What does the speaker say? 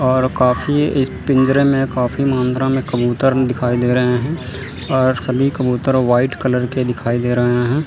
और काफ़ी इस पिंजरे में काफी मात्रा में कबूतर दिखाई दे रहे हैं और सभी कबूतर व्हाइट कलर के दिखाई दे रहे हैं।